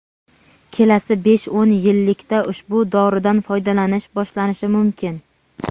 kelasi besh-o‘n yillikda ushbu doridan foydalanish boshlanishi mumkin.